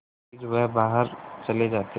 फिर वह बाहर चले जाते